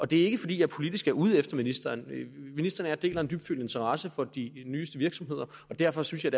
det er ikke fordi jeg politisk er ude efter ministeren ministeren og jeg deler en dybfølt interesse for de nyeste virksomheder og derfor synes jeg